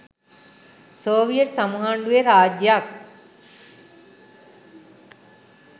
Soviet සමූහාණ්‌ඩුවේ රාජ්‍යයක්